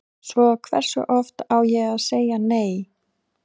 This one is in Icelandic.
Svo hversu oft á ég að segja nei?